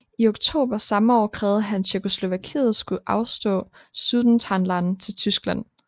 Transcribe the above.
I oktober samme år krævede han at Tjekkoslovakiet skulle afstå Sudetenland til Tyskland